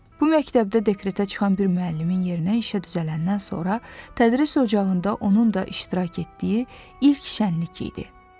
Bu məktəbdə dekretə çıxan bir müəllimin yerinə işə düzələndən sonra tədris ocağında onun da iştirak etdiyi ilk şənlik idi.